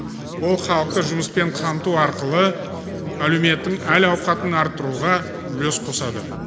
ол халықты жұмыспен қамту арқылы әлеуметтің әл ауқатын арттыруға үлес қосады